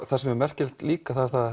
það sem er merkilegt líka það er það